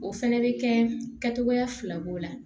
O fɛnɛ bɛ kɛ kɛcogoya fila b'o la